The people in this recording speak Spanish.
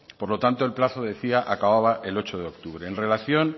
por lo tanto el plazo acababa el ocho de octubre en relación